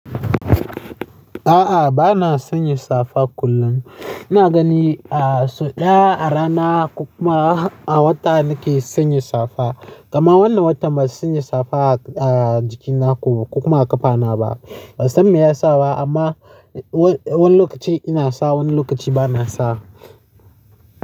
A'a, ba na sanya safa kullum. Ina gani a so ɗaya a rana kuma a wata nake sanya safa. Kaman wannan watan ban sanya safa a jiki na ko ba ko kuma a ƙafa na ba. Ban san me yasa ba amma wani lokaci ina sa wani lokaci ba na sa.